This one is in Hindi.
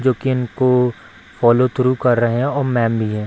जो कि इनको फॉलो थ्रू कर रहे है और मैम भी है।